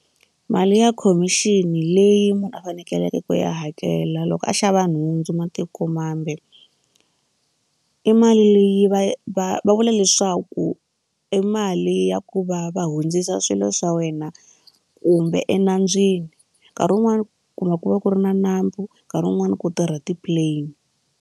Mali ya khomixini leyi munhu a fanekeleke ku ya hakela loko a xava nhundzu matikomambe i mali leyi va va va vula leswaku i mali ya ku va va hundzisa swilo swa wena kumbe enandzwini nkarhi wun'wani kumbe ku va ku ri na nambu nkarhi wun'wani ku tirha ti-plane.